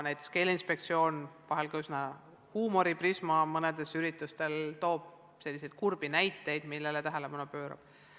Näiteks, Keeleinspektsiooni toob – vahel küll läbi huumoriprisma – mõnel üritusel selliseid kurbi näiteid, millele peab tähelepanu pöörama.